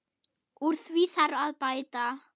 Úr því þarf að bæta.